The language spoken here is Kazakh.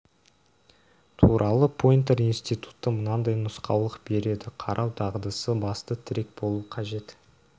туралы пойнтер институты мынадай нұсқаулық береді қарау дағдысы басты тірек болу қажет